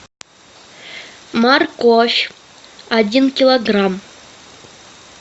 морковь один килограмм